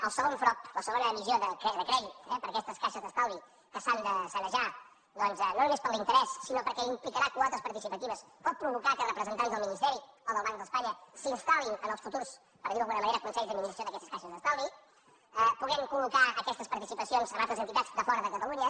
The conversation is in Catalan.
el segon frob la segona emissió de crèdit eh per a aquestes caixes d’estalvi que s’han de sanejar doncs no només per l’interès sinó perquè implicarà quotes participatives pot provocar que representants del ministeri o del banc d’espanya s’instal·lin en els futurs per dir ho d’alguna manera consells d’administració d’aquestes caixes d’estalvi puguin col·locar aquestes participacions a altres entitats de fora de catalunya